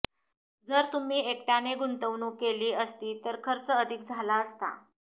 जर तुम्ही एकट्याने गुंतवणूक केली असती तर खर्च अधिक झाला असता